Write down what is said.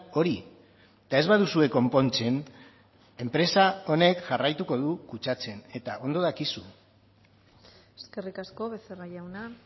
hori eta ez baduzue konpontzen enpresa honek jarraituko du kutsatzen eta ondo dakizu eskerrik asko becerra jauna